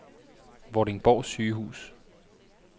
Vordingborg Sygehus